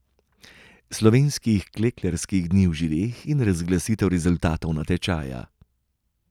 Slovenskih klekljarskih dni v Žireh in razglasitev rezultatov natečaja.